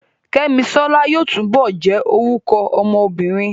Kẹ́misọ́lá yóò túbọ̀ jẹ́ orúkọ ọmọ obìnrin